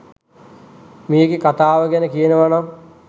මේකෙ කතාව ගැන කියනවනම්